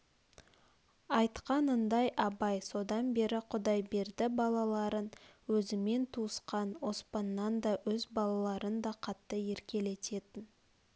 айтқанындай абай содан бері құдайберді балаларын өзімен туысқан оспаннан да өз балаларынан да қатты еркелететін